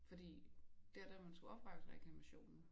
Fordi der da man skulle oprette reklamationen